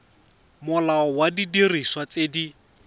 molao wa didiriswa tse di